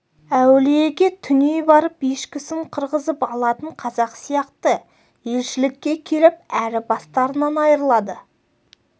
әулиеге түней барып ешкісін қырғызып алатын қазақ сияқты елшілікке келіп әрі бастарынан айрылады